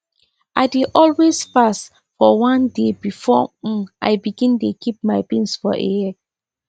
i dey always fast for one day before um i begin dey keep my beans for a year